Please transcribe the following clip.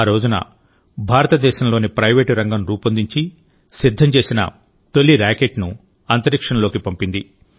ఆ రోజునభారతదేశంలోని ప్రైవేట్ రంగం రూపొందించి సిద్ధం చేసిన తొలి రాకెట్ను అంతరిక్షంలోకి పంపింది